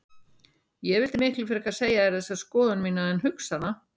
Ég vildi miklu frekar segja þér þessa skoðun mína en hugsa hana.